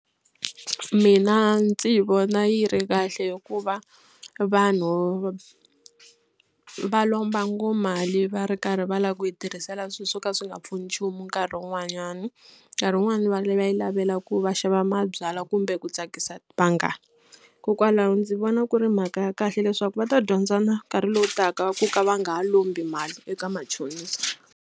Mina ndzi vona yi ri kahle hikuva vanhu va lomba ngoma va ri karhi va lava ku yi tirhisela swilo swo ka swi nga pfuni nchumu nkarhi wun'wanyani. Nkarhi wun'wani va va yi lavela ku va xava mabyalwa kumbe ku tsakisa vanghana hikokwalaho ndzi vona ku ri mhaka ya kahle leswaku va ta dyondza na nkarhi lowu taka ku ka va nga ha lombi mali eka machonisa.